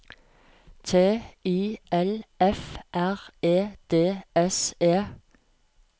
T I L F R E D S E